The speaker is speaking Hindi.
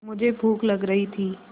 मुझे भूख लग रही थी